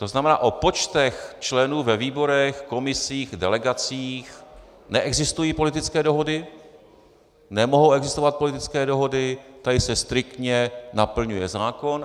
To znamená, o počtech členů ve výborech, komisích, delegacích neexistují politické dohody, nemohou existovat politické dohody, tady se striktně naplňuje zákon.